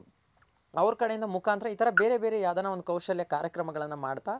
ಅವ್ರ್ ಕಡೆಯಿಂದ ಮುಖಾಂತರ ಇ ತರ ಬೇರೆ ಬೇರೆ ಯಾವ್ದನ ಒಂದ್ ಕೌಶಲ್ಯ ಕಾರ್ಯಕ್ರಮಗಳನ್ ಮಾಡ್ತಾ